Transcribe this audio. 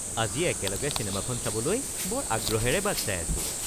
আজি একেলগে চিনেমাখন চাবলৈ বৰ আগ্ৰহেৰে বাট চাই আছো